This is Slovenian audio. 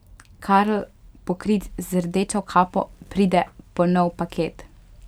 Karl, pokrit z rdečo kapo, pride po nov paket.